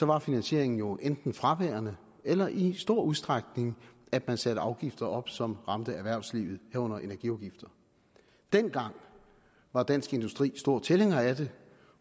var finansieringen jo enten fraværende eller i stor udstrækning at man satte afgifter op som ramte erhvervslivet herunder energiafgifter dengang var dansk industri stor tilhænger af det